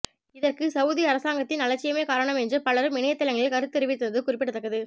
இதற்கு சவுதி அரசாங்கத்தின் அலட்சியமே காரணம் என்று பலரும் இணையத்தளங்களில் கருத்து தெரிவித்திருந்தது குறிப்பிடத்தக்கது